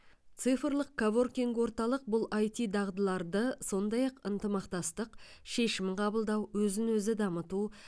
цифрлық коворкинг орталық бұл іт дағдыларды сондай ақ ынтымақтастық шешім қабылдау өзін өзі дамыту